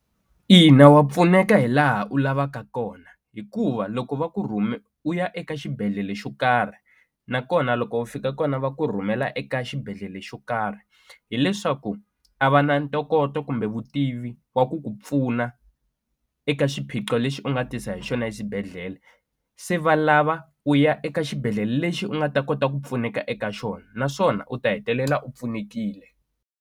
Ina wa pfuneka hi laha u lavaka kona hikuva loko va ku rhume u ya eka xibedhlele xo karhi nakona loko u fika kona va ku rhumela eka xibedhlele xo karhi hileswaku a va na ntokoto kumbe vutivi wa ku ku pfuna eka xiphiqo lexi u nga tisa hi xona exibedhlele se va lava u ya eka xibedhlele lexi u nga ta kota ku pfuneka eka xona naswona u ta hetelela u pfunekile.